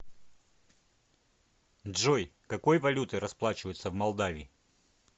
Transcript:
джой какой валютой расплачиваются в молдавии